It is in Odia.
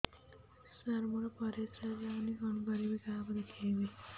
ସାର ମୋର ପରିସ୍ରା ଯାଉନି କଣ କରିବି କାହାକୁ ଦେଖେଇବି